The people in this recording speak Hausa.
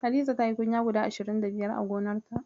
Hadiza tayi kunya guda ashirin da biyar a gonarta.